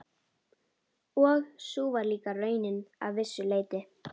Og sú var líka raunin að vissu leyti.